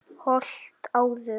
Holt menn áður nefndu skóg.